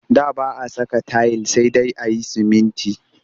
Da ba a saka tayil sai dai a yi sumunti